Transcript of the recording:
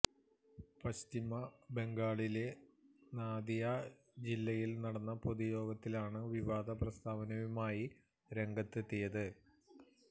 പശ്ചിമ ബംഗാളിലെ നാദിയ ജില്ലയില് നടന്ന പൊതുയോഗത്തിലാണ് വിവാദ പ്രസ്താവനയുമായി രംഗത്തെത്തിയത്